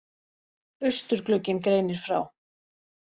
Austurglugginn greinir frá